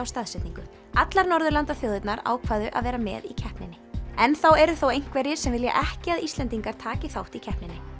staðsetningu allar Norðurlandaþjóðirnar ákváðu að vera með í keppninni enn þá eru þó einhverjir sem vilja ekki að Íslendingar taki þátt í keppninni